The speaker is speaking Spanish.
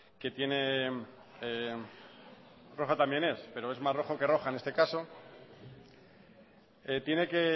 que tiene roja también es pero es más roja que roja en este caso tiene que